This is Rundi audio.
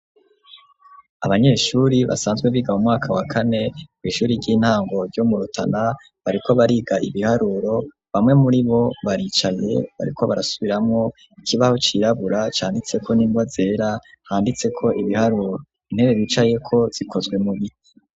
Abanyeshuri basanzwe biga mu mwaka wa kane ku ishuri ry'intango ryo murotana bariko bariga ibiharuro bamwe muribo baricaye bariko barasubiramo ikibaho cirabura canditseko n'ingwa zera handitse ko ibiharuro , intebe bicaye ko zikozwe mubiti.